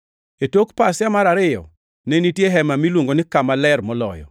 E tok pasia mar ariyo ne nitie hema miluongo ni Kama Ler Moloyo,